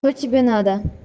что тебе надо